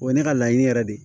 O ye ne ka laɲini yɛrɛ de ye